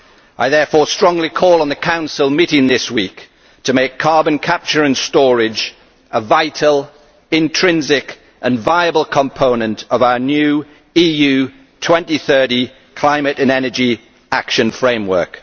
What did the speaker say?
I therefore strongly call on the Council meeting this week to make carbon capture and storage a vital, intrinsic and viable component of our new EU 2030 climate and energy action framework.